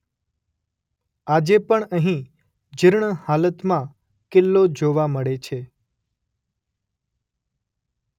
આજે પણ અહીં જીર્ણ હાલતમાં કિલ્લો જોવા મળે છે.